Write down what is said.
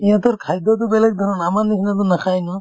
সিহঁতৰ খাদ্যতো বেলেগ ধৰণৰ আমাৰ নিচিনাতো নাখাই ন